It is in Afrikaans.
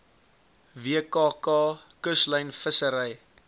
wkk kuslyn vissery